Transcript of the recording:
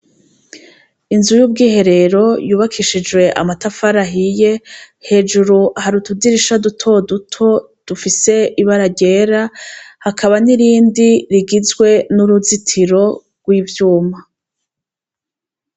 Inzu y'ubwiherero yubakishijwe amatafari ahiye hejuru hari utudirisha duto duto dufise ibara ryera hakaba n'irindi rigizwe n'uruzitiro rw'ivyuma.